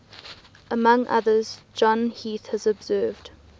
among others john heath has observed